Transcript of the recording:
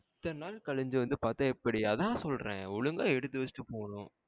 இத்தன நாள் களுஞ்சி வந்து பாத்தா எப்டி அத சொல்றேன் ஒழுங்கா எடுத்து வச்சிட்டு போனும்.